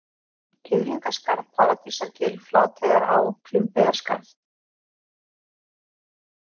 Kiðlingaskarð, Paradísargil, Flateyjará, Klumbeyjarskarð